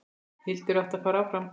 Hildur átti að fara áfram!